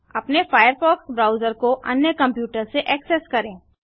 अपने Firefox browser को अन्य कंप्यूटर से ऐक्सेस करें